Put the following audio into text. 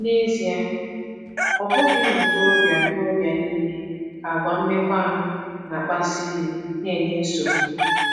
N’ezie, ọ bụghị ụmụ ntorobịa ntorobịa niile ka àgwà mmekọahụ na-akpasu iwe na-enye nsogbu.